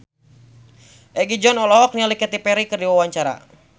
Egi John olohok ningali Katy Perry keur diwawancara